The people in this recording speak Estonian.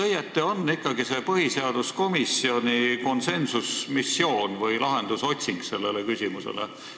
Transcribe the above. Milline on ikkagi õieti see põhiseaduskomisjoni konsensusmissioon või selle küsimuse lahenduse otsing?